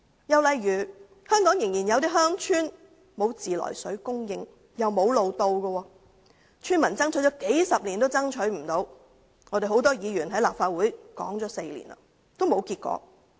又例如香港有些鄉村仍然沒有自來水供應，亦無路可到達，村民爭取數十年也不成功，很多議員在立法會提出問題已經4年，仍沒有結果。